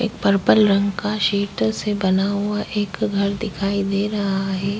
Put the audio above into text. एक पर्पल रंग का सीट से बना हुआ एक घर दिखाई दे रहा है।